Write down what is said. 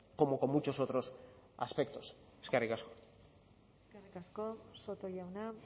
como con muchos otros aspectos eskerrik asko eskerrik asko soto jauna